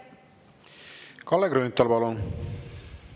Kalle Grünthal, palun!